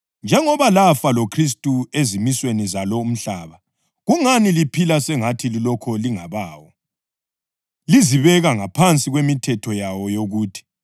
Njengoba lafa loKhristu ezimisweni zalo umhlaba, kungani liphila sengathi lilokhu lingabawo, lizibeka ngaphansi kwemithetho yawo yokuthi,